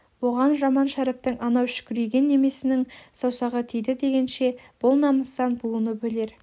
оған жаман шәріптің анау шікірейген немесінің саусағы тиді дегенше бұл намыстан буынып өлер